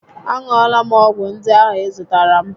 A ṅụọla m ọgwụ ndị ahụ ị zụtaara m